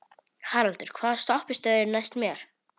Haraldur, hvaða stoppistöð er næst mér?